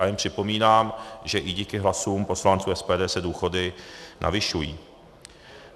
A jen připomínám, že i díky hlasům poslanců SPD se důchody navyšují.